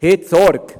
Tragen Sie Sorge.